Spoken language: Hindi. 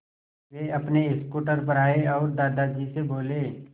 वे अपने स्कूटर पर आए और दादाजी से बोले